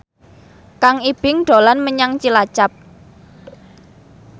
Kang Ibing dolan menyang Cilacap